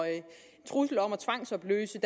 trusler om at tvangsopløse